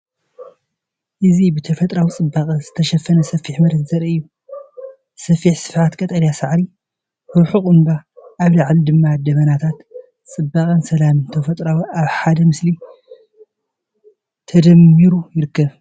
እዚ ብተፈጥሮኣዊ ጽባቐ ዝተሸፈነ ሰፊሕ መሬት ዘርኢ እዩ። ሰፊሕ ስፍሓት ቀጠልያ ሳዕሪ፣ ርሑቕ እምባ፣ ኣብ ላዕሊ ድማ ደበናታት፤ ጽባቐን ሰላምን ተፈጥሮ ኣብ ሓደ ምስሊ ተደሚሩ ይርከብ።